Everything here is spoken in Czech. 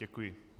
Děkuji.